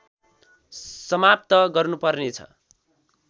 समाप्त गर्नुपर्ने छ